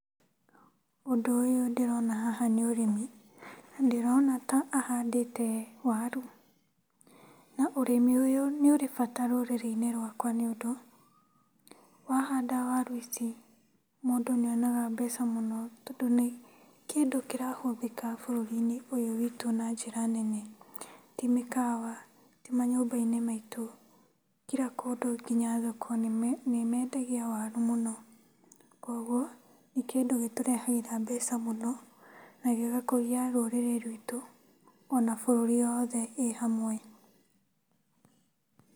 Ũndũ ũyũ ndĩrona haha nĩ ũrĩmi, ndĩrona ta ahandĩte waru na ũrĩmi ũyũ nĩ ũrĩ bata rũrĩrĩ-inĩ rwakwa nĩ ũndũ, wahanda waru ici mũndũ nĩonaga mbeca mũno tondũ nĩ kĩndũ kĩrahũthĩka bũrũri-nĩ ũyũ wĩtũ na njĩra nene, ti mĩkawa, ti manyũmba-inĩ maitu, kira kũndũ nginya thoko andũ nĩmendagia waru mũno. Kũoguo nĩ kĩndũ gĩtũrehagĩra mbeca mũno na gĩgakũria rũrĩrĩ ruitũ ona bũrũri o wothe ĩ hamwe.